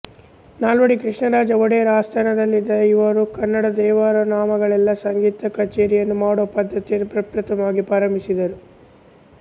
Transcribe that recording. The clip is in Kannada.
ನಾಲ್ವಡಿ ಕೃಷ್ಣರಾಜ ಒಡೆಯರ ಆಸ್ಥಾನದಲ್ಲಿದ್ದ ಇವರು ಕನ್ನಡ ದೇವರನಾಮಗಳಲ್ಲೆ ಸಂಗೀತ ಕಛೇರಿಯನ್ನು ಮಾಡುವ ಪದ್ಧತಿಯನ್ನು ಪ್ರಪ್ರಥಮವಾಗಿ ಪ್ರಾರಂಭಿಸಿದರು